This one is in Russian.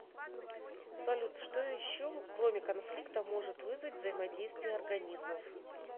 салют что еще кроме конфликта может вызвать взаимодействие организмов